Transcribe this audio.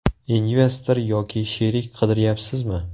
Investor yoki sherik qidiryapsizmi?